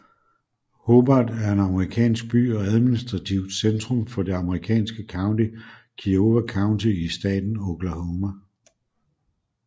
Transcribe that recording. Hobart er en amerikansk by og administrativt centrum for det amerikanske county Kiowa County i staten Oklahoma